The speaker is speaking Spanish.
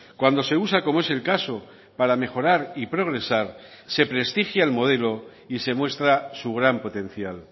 cuando se usa como es el caso para mejorar y progresar se prestigia el modelo y se muestra su gran potencial